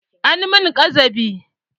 An mun ƙazafi